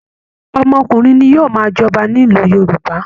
Ọmọkùnrin ni yóò máa jọba nílùú Yorùbá